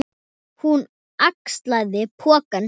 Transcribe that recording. Hún axlaði poka sinn.